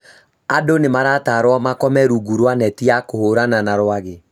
Andũ nĩmaratarwo makome rungu rwa neti ya kũhũrana na rwagĩ